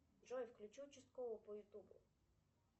джой включи участкового по ютубу